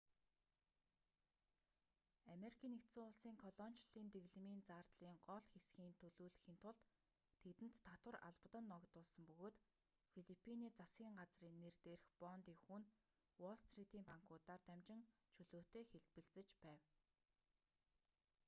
ану-ын колоничлолын дэглэмийн зардлын гол хэсгийн төлүүлэхийн тулд тэдэнд татвар албадан ногдуулсан бөгөөд филиппиний засгийн газрын нэр дээрх бондын хүү нь уолл стритийн банкуудаар дамжин чөлөөтэй хэлбэлзэж байв